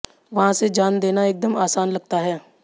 वहां से जान देना एकदम आसान लगता है